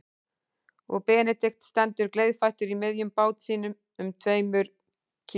Og Benedikt stendur gleiðfættur í miðjum bát sínum um tveimur kíló